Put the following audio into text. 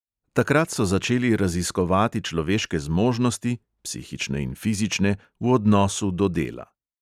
Takrat so začeli raziskovati človeške zmožnosti (psihične in fizične) v odnosu do dela.